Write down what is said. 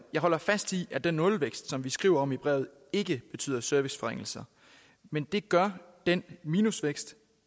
holder fast i at den nul vækst vi skriver om i brevet ikke betyder serviceforringelser men det gør den minus vækst